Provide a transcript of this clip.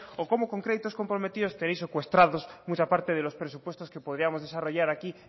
o cómo con créditos comprometidos tenéis secuestrados mucha parte de los presupuestos que podríamos desarrollar aquí